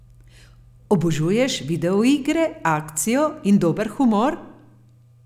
Obožuješ video igre, akcijo in dober humor?